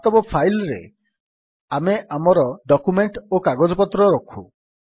ବାସ୍ତବ ଫାଇଲ୍ ରେ ଆମେ ଆମର ଡକ୍ୟୁମେଣ୍ଟ୍ ଓ କାଗଜପତ୍ର ରଖୁ